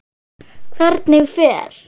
Hvernig fer?